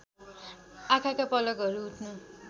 आँखाका पलकहरू उठ्नु